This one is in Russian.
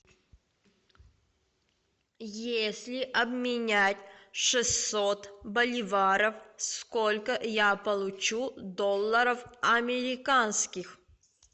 если обменять шестьсот боливаров сколько я получу долларов американских